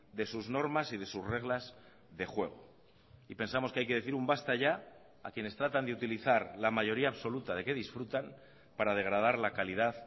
de sus normas y de sus reglas de juego y pensamos que hay que decir un basta ya a quienes tratan de utilizar la mayoría absoluta de que disfrutan para degradar la calidad